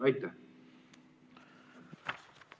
Aitäh!